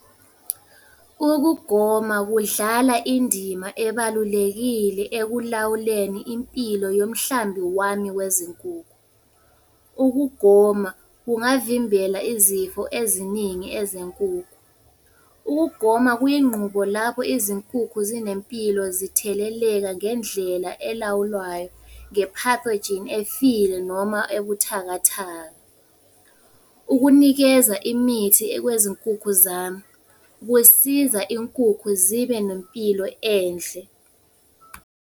Ukugoma kudlala indima ebalulekile ekulawuleni impilo yomhlambi wami wezinkukhu. Ukugoma kungavimbela izifo eziningi ezenkukhu. Ukugoma kuyinqubo lapho izinkukhu zinempilo zitheleleka ngendlela elawulwayo nge-pathogene efile noma ebuthakathaka. Ukunikeza imithi kwezinkukhu zami, kusiza inkukhu zibe nempilo enhle.